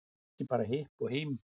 Ekki bara hipp og hím